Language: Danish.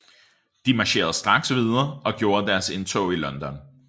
De marcherede straks videre og gjorde deres indtog i London